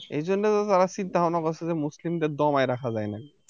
এইজন্য তো তারা চিন্তাভাবনা করছে যে মুসলিমদের দমাই রাখা যায় নাকী